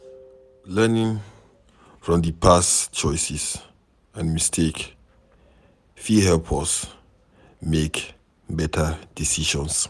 Learning from di past choices and mistakes fit help us make better decisions